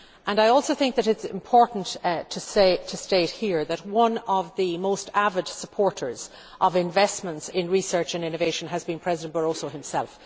I also think it is important to state here that one of the most avid supporters of investments in research and innovation has been President Barroso himself.